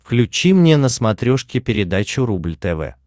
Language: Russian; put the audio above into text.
включи мне на смотрешке передачу рубль тв